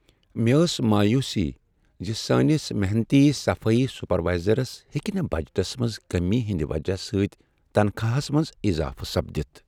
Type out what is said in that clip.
مےٚ ٲس مایوسی ز سٲنس محنتی صفٲیی سپروائزرس ہیکہٕ نہٕ بجٹس منٛز کمی ہٕنٛد وجہ سۭتۍ تنخواہس منٛز اضافہٕ سپدِتھ۔